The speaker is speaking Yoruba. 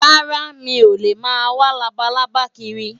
Rárá, mi ò lè máa wá labalábá kiri.